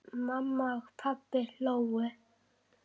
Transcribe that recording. Mamma og pabbi hlógu.